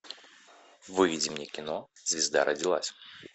выведи мне кино звезда родилась